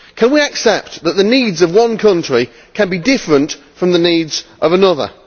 Can we accept that the needs of one country can be different from the needs of another?